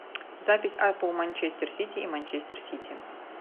запись апл манчестер сити и манчестер сити